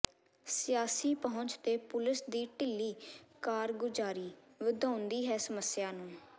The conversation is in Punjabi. ਸਿਆਸੀ ਪਹੁੰਚ ਤੇ ਪੁਲਸ ਦੀ ਢਿੱਲੀ ਕਾਰਗੁਜਾਰੀ ਵਧਾਉਂਦੀ ਹੈ ਸਮੱਸਿਆ ਨੂੰ